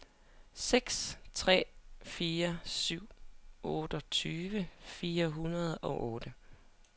seks tre fire syv otteogtyve fire hundrede og otte